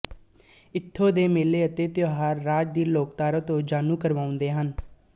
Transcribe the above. ਇੱਥੋਂ ਦੇ ਮੇਲੇ ਅਤੇ ਤਿਉਹਾਰ ਰਾਜ ਦੀ ਲੋਕਧਾਰਾ ਤੋਂ ਜਾਣੂ ਕਰਵਾਉਂਦੇ ਹਨ